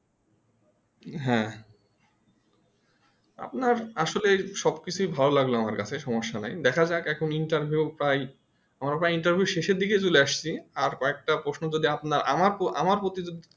হ্যাঁ আপনার আসলে সবকিছুই ভালো লাগলো আমার কাছে সমস্যা নাই দেখা যায় এখন Interview প্রায় এখন আবার Interview শেষে দিকে চলে আসছে আর কয়েকটা প্রশ্ন যদি আপনার আমার প্রতিদ্বন্দ্বে